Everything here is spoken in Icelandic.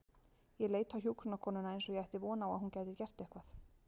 Ég leit á hjúkrunarkonuna eins og ég ætti von á að hún gæti gert eitthvað.